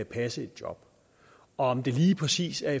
passe et job om det lige præcis er